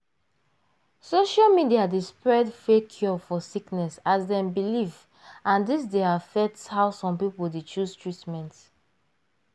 social media dey spread fake cure for sickness as dem belief and dis d affect how some people dey chose treatment.